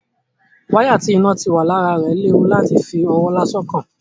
Wáyà tí iná ti wà lára rẹ̀ léwu láti fi ọwọ́ lásán kàn.